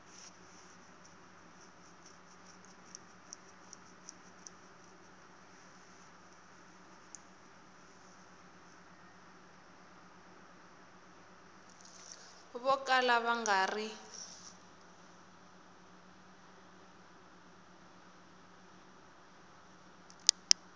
vo kala va nga ri